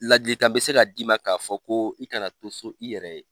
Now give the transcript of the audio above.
Ladili kan be se ka d'i ma ka fɔ ko i kana to so i yɛrɛ ye